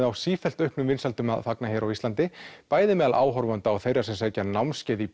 á sífellt auknum vinsældum að fagna hér á landi bæði meðal áhorfenda og þeirra sem sækja námskeið í